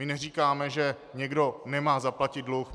My neříkáme, že někdo nemá zaplatit dluh.